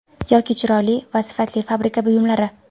Yoki chiroyli va sifatli fabrika buyumlari.